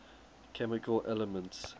chemical elements